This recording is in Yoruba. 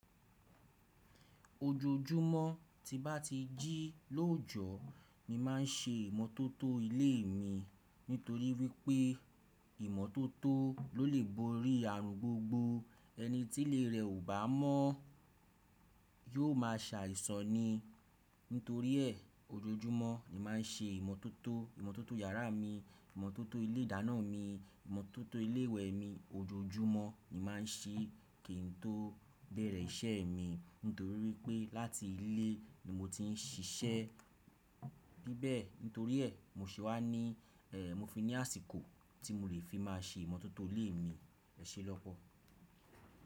Ojoojúmọ́ tí bá ti jí lójọ, nii máa ń ṣe ìmọ́tótó ilé mi nítorí wípé ìmọ́tótó ló lè borí ààrùn gbogbo. Ẹni tí ilé rè ò bá mọ̀ yóò má sàìsàn ni. Nítorí ẹ, ojoojúmọ́ ni màá ń ṣe ìmọ́tótó, ìmọ́tótó iyàrá mi, ìmọ́tótó ilé ìdáná mi, ìmọ́tótó ilé ìwẹ̀ mi, ojoojúmọ́ ni màá ń ṣe kín tó bẹ̀rẹ̀ iṣẹ́ mi nítorí wípé láti ilé ni mo ti ń ṣiṣẹ́ níbẹ̀ẹ́. Nítorí ẹ, mo se wá ní, ẹẹh mo fi ní àsìkò tí mo lè fi máa ṣe ìmọ́tótó ilé mi. Ẹ ṣé lọ́pọ̀.